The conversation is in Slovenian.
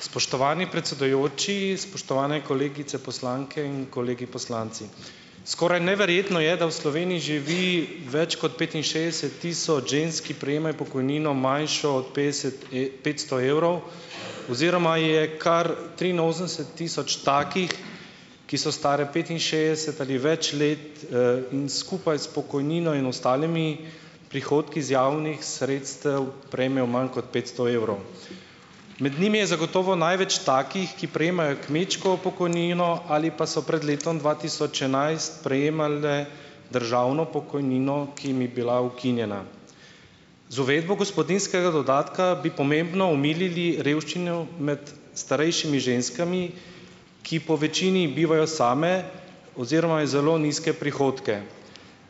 Spoštovani predsedujoči, spoštovane kolegice poslanke in kolegi poslanci! Skoraj neverjetno je, da v Sloveniji živi več kot petinšestdeset tisoč žensk, ki prejemajo pokojnino, manjšo od petdeset, petsto evrov, oziroma je kar triinosemdeset tisoč takih, ki so stare petinšestdeset ali več let, in skupaj s pokojnino in ostalimi prihodki z javnih sredstev prejmejo manj kot petsto evrov. Med njimi je zagotovo največ takih, ki prejemajo kmečko pokojnino ali pa so pred letom dva tisoč enajst prejemale državno pokojnino, ki jim je bila ukinjena. Z uvedbo gospodinjskega dodatka bi pomembno omilili revščino med starejšimi ženskami, ki povečini bivajo same oziroma je zelo nizke prihodke.